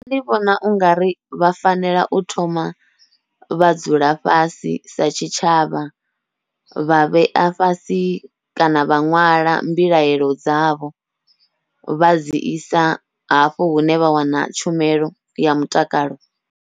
Nṋe ndi vhona ungari vha fanela u thoma vha dzula fhasi sa tshitshavha, vha vhea fhasi kana vha ṅwala mbilaelo dzavho vha dzi isa hafho hune vha wana tshumelo ya mutakalo.